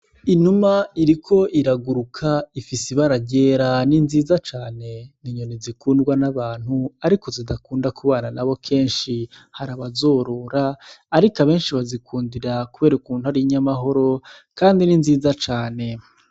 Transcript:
Inuma iriko iraguruka ifise ibara ryera ni nziza cane, ni inyoni zikundwa n'abantu ariko zidakunda kubana nabo kenshi, hari abazorora ariko abenshi bazikundira kubera ukuntu ari inyamahoro kandi ni nziza cane.